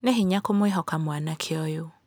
Nĩ hinya kũmwĩhoka mwanake ũyũ.